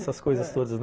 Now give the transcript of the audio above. Essas coisas todas.